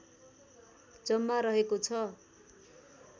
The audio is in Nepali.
जम्मा रहेको छ